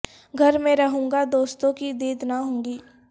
گھر میں رہوں گا دوستوں کی دید نہ ہوگی